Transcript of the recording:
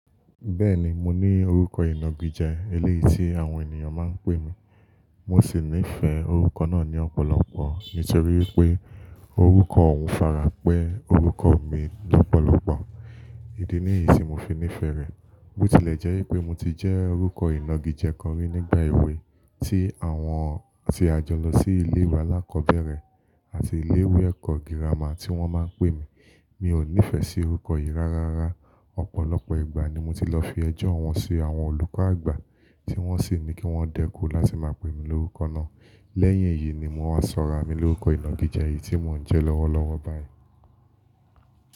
Bẹ́ẹ̀ni mo ní orúkọ ìnagijẹ ẹlẹ́yìí tí àwọn ènìyàn máa ń pè mí. Mo sì nífẹ̀ẹ́ orúkọ náà ní ọ̀pọ̀lọpọ̀ nítorí wípé orúkọ òun fara pẹ́ orúkọ mi lọ́pọ̀lọpọ̀. Ídí níyìí tí mo fi nífẹ̀ẹ́ rẹ̀. Botilẹ́jẹ́ wípé mo ti jẹ́ orúkọ ìnagijẹ kan rí nígbà èwe tí àwọn tí a jọ lọ sí ilé ìwé alákọ̀ọ́bẹ̀rẹ̀ àti ilé ìwé ẹ̀kọ́ gírámà tí wón máa ń pè mí. Mi ò nífẹ̀ẹ́ sí orúkọ yìí rárá. Ọ̀pọ̀lọpọ̀ ìgbà ni mo ti lọ fi ẹjọ́ wọn sí àwọn olùkọ́ àgbà tí wọ́n sì ní kí wọ́n dẹ́kun láti máa pè mí lórúkọ náà. Lẹ́yìn èyí ni mo máa sọra mi lórúkọ ìnagijẹ yìí tí mò ń jẹ́ lọ́wọ́lọ́wọ́ báyìí.